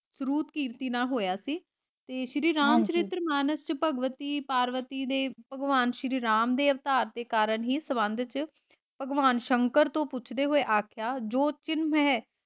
ਸਰੂਪਕਿਰਤੀ ਨਾਲ ਹੋਇਆ ਸੀ ਤੇ ਸ਼੍ਰੀ ਰਾਮ ਚਰਿਤ੍ਰ ਮਾਨਸ ਵਿੱਚ ਭਗਵਤੀ, ਪਾਰਵਤੀ ਦੇ ਭਗਵਾਨ ਸ਼੍ਰੀ ਰਾਮ ਦੇ ਅਵਤਾਰ ਦੇ ਕਾਰਨ ਹੀ ਸੰਬੰਧ ਚ ਭਗਵਾਨ ਸ਼ੰਕਰ ਤੋਂ ਪੁੱਛਦੇ ਹੋਏ ਆਖਿਆ ਜੋ ਕਿਨਮ ਹੈ